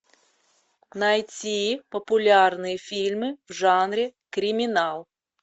найти популярные фильмы в жанре криминал